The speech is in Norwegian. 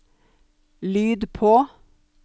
lyd på